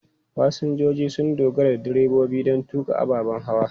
Fasinjoji sun dogara da direbobi don tuƙa ababen hawa.